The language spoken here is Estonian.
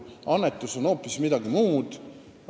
Annetus on hoopis midagi muud.